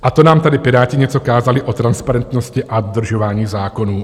A to nám tady Piráti něco kázali o transparentnosti a dodržování zákonů!